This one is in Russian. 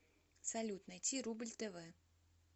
салют найти рубль тв